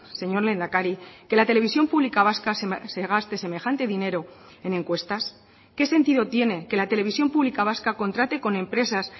señor lehendakari que la televisión pública vasca se gaste semejante dinero en encuestas qué sentido tiene que la televisión pública vasca contrate con empresas